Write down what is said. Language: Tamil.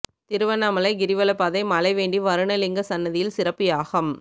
திருவண்ணாமலை கிரிவலப்பாதை மழை வேண்டி வருண லிங்க சன்னதியில் சிறப்பு யாகம்